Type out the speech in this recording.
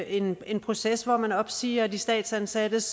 en en proces hvor man opsiger de statsansattes